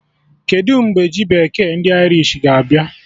Kedụ mgbe ji bekee ndị Irish ga-abịa?